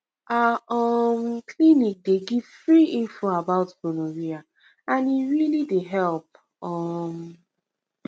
our um clinic dey give free info about gonorrhea and e really dey help um